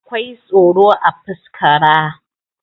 akwai tsoro a fuskaraa